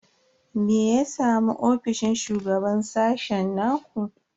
Me ya samu ofishin shugaban sashen ku?